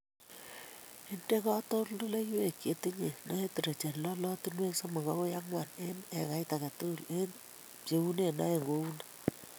Inde katoldoloiwek chetinyei nitrogen lolotinwek somok agoi ang'wan eng ekait age tugul ak ibcheune oeng kouni